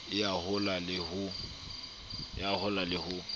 e ya hola le ho